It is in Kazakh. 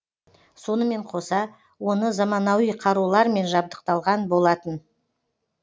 сонымен қоса оны заманауи қарулармен жабдықталған болатын